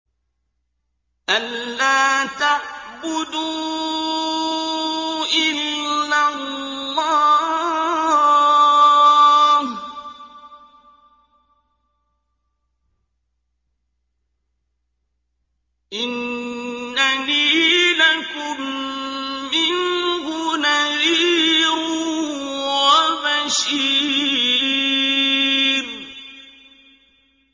أَلَّا تَعْبُدُوا إِلَّا اللَّهَ ۚ إِنَّنِي لَكُم مِّنْهُ نَذِيرٌ وَبَشِيرٌ